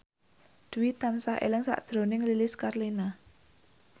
Dwi tansah eling sakjroning Lilis Karlina